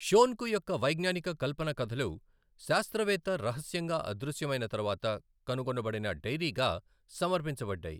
షోన్కు యొక్క వైజ్ఞానిక కల్పన కథలు శాస్త్రవేత్త రహస్యంగా అదృశ్యమైన తర్వాత కనుగొనబడిన డైరీగా సమర్పించబడ్డాయి.